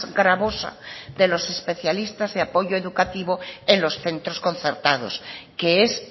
gravosa de los especialistas de apoyo educativo en los centros concertados que es